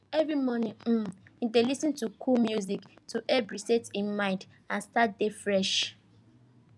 every morning um he dey lis ten to cool music to help reset him mind and start day fresh